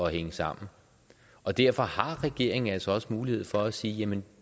hænge sammen og derfor har regeringen altså mulighed for at sige jamen